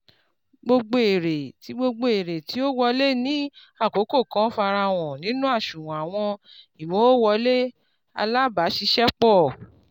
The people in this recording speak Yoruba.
gbogbo èrè tí gbogbo èrè tí ó wọlé ní àkókò kan farahan nínú àṣùwọ̀n àwọn ìmowòwọlé alábàáṣiṣẹ́pọ̀